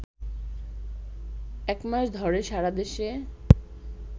একমাস ধরে সারাদেশে